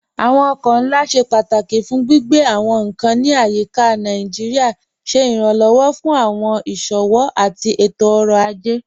Awọn ọkọ̀ nlá ṣẹ pátákí fún gbigbe awọn nkan ní ayíká Naijíríà, ṣẹ iránlọ́wọ́ fún awọn iṣowo àti ètò-ọ̀rọ̀ ajẹ́.